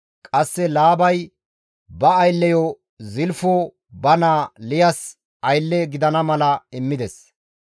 Qasse Laabay ba aylleyo Zilfo ba naa Liyas aylle gidana mala immides.